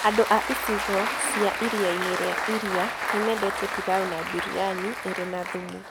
Andũ a icigo cia Iria-inĩ rĩa Iria nĩ mendete pilau na biryani ĩrĩ na thumu.